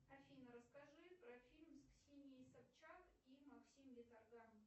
афина расскади про фильм с ксенией собчак и максим виторган